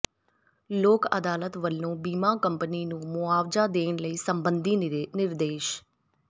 ਲੋਕ ਅਦਾਲਤ ਵੱਲੋਂ ਬੀਮਾ ਕੰਪਨੀ ਨੂੰ ਮੁਆਵਜ਼ਾ ਦੇਣ ਸਬੰਧੀ ਨਿਰਦੇਸ਼